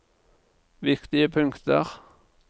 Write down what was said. viktige punkter